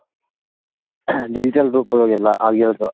digital group ಗಳದ್ ಎಲ್ಲ ಆಗಿರೋದು.